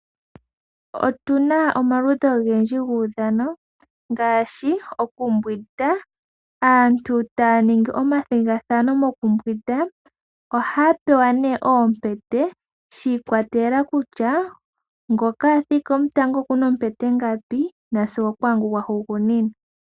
Otuna omaludhi ogendji guudhano, ngaashi okumbwinda. Aantu taya ningi omathigathano moku mbwinda. Oha ya pewa nee oompete, shi ikwatelela kuty ngoka athika omutango okuna oompete ngapi nasigo oku ngo gwa hugunina.